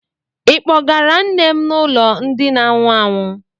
Ị kpọgara nne m n'ụlọ ndị na anwụ anwụ?